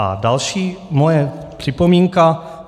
A další moje připomínka.